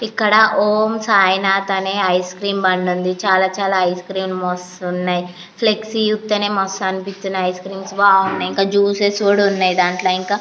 ఇక్కడ ఓం సాయినాధ్ అనే ice cream బండి ఉంది. ఇక్కడ చాలా రకాల ఐస్ క్రీము లు వస్తున్నాయి. ఫ్లెక్సీ చూస్తూనే మస్త్ అనిపిస్తున్నాయి బాగున్నాయి. ఇంకా జూసిస్ కూడా ఉన్నాయ్.